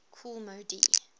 kool moe dee